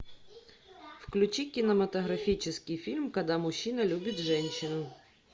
включи кинематографический фильм когда мужчина любит женщину